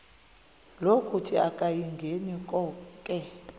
lokuthi akayingeni konke